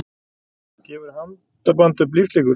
Gefur handaband upp lífslíkur